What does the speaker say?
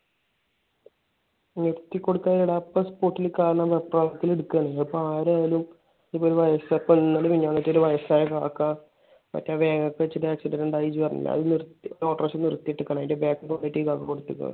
നിർത്തി കൊടുക്കാത്തതല്ലടാ. അപ്പൊ spot ഇൽ കാണുന്ന വെപ്രാളത്തിൽ എടുക്കുന്നതാണ്. അതിപ്പോ ആരായാലും ഇപ്പൊ ഒരു വയസ്സായ ഇന്നലെയോ മിനിഞ്ഞാന്നോ ഒരു വയസ്സായ കാക്ക മറ്റേ വേങ്ങത്ത് വെച്ച് ഒരു accident ഇണ്ടായെന്ന് നീ പറഞ്ഞില്ലേ. അവിടെ ഒരു ഓട്ടർഷ നിർത്തി ഇട്ടിരിക്കണ്. അതിന്റെ back ൽ കൊണ്ടുപോയിട്ട് കുത്തിയേക്ക.